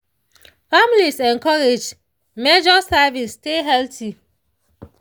families encouraged measure servings stay healthy.